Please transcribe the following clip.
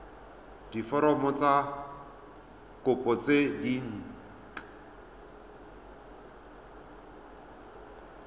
diforomo tsa kopo tse dint